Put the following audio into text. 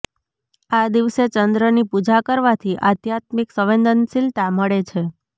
આ દિવસે ચંદ્રની પૂજા કરવાથી આધ્યાત્મિક સંવેદનશીલતા મળે છે